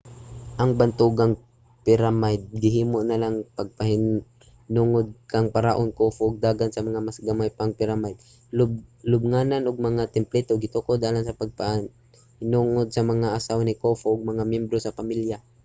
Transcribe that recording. ang bantugang piramide gihimo alang sa pagpahinungod kang paraon khufu ug daghan sa mga mas gamay nga piramide lubnganan ug mga templo gitukod alang sa pagpahinungod sa mga asawa ni khufu ug mga miyembro sa pamilya